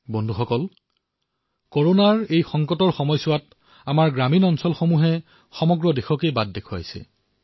বন্ধুসকল কৰোনাৰ সময়ছোৱাত আমাৰ গ্ৰামীণ ক্ষেত্ৰই সমগ্ৰ দেশক দিশ দেখুৱাইছে